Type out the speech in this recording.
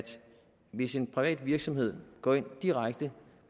hvis en privat virksomhed går ind på direkte